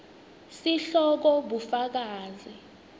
sihloko bufakazi